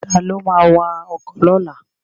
Ta ló ma wa ọkọ̀ lọ́la?